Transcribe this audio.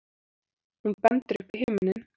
Hún bendir upp í himininn.